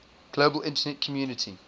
global internet community